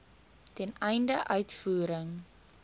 ten einde uitvoering